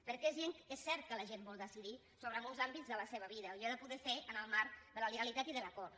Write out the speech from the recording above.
perquè és cert que la gent vol decidir sobre molts àmbits de la seva vida i ha de poder ser en el marc de la legalitat i de l’acord